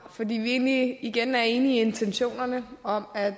vi er egentlig igen enige i intentionerne om at